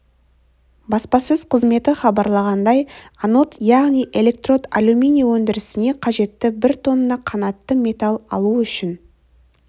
баспасөз қызметі хабарлағандай анод яғни электрод алюминий өндірісіне қажетті бір тонна қанатты металл алу үшін